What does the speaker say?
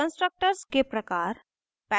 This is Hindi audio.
constructors के प्रकार: